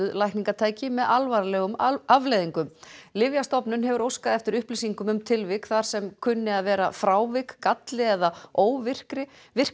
lækningatæki með alvarlegum afleiðingum Lyfjastofnun hefur óskað eftir upplýsingum um tilvik þar sem kunni að vera frávik galli eða óvirkni